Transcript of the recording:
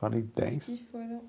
Falei dez.